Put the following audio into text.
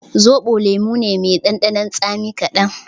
Zoɓo lemo ne mai ɗanɗanon tsami kaɗan